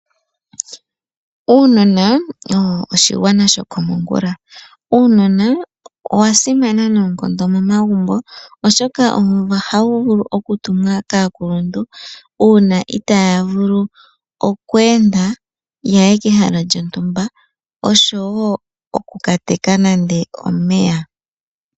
Uunona owo oshigwana shokomongula . Uunona owa simana noonkondo momagumbo oshoka owo hawu vulu okutumwa kaakuluntu uuna itaya vulu oku enda yaye kehala lyontumba oshowo oku kateka nande omeya.